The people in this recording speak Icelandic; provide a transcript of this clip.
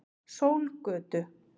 Sólgötu